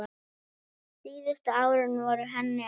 Síðustu árin voru henni erfið.